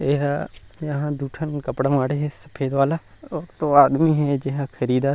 एह यहाँ दु ठन कपड़ा माढ़े हे सफ़ेद वाला अउ दो आदमी हे जेन ह खरीदत हे।